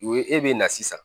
U ye e bɛ na sisan